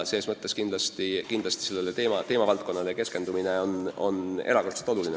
Ses mõttes on sellele teemavaldkonnale keskendumine erakordselt oluline.